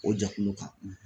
O jɛkulu kan.